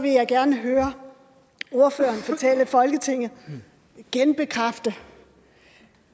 jeg gerne høre ordføreren fortælle folketinget genbekræfte